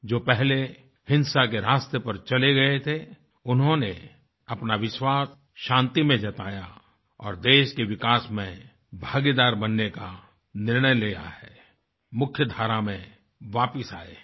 जो पहले हिंसा के रास्ते पर चले गए थे उन्होंने अपना विश्वास शान्ति में जताया और देश के विकास में भागीदार बनने का निर्णय लिया है मुख्यधारा में वापस आए हैं